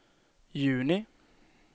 juni